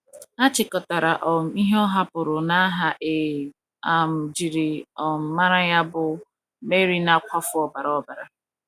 A chịkọtara um ihe ọ hapụrụ n’aha e um jiri um mara ya bụ — Mary Na - akwafu Ọbara Ọbara.